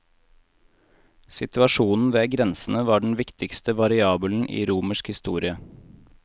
Situasjonen ved grensene var den viktigste variabelen i romersk historie.